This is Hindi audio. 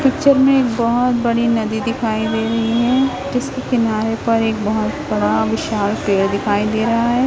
पिक्चर में एक बहोत बड़ी नदी दिखाई दे रही हैं जिसके किनारे पर एक बहुत बड़ा विशाल पेड़ दिखाई दे रहा है।